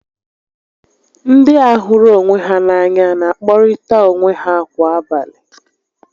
Ndị a hụrụ onwe ha n'anya n'akpọrịta onwe ha kwa abalị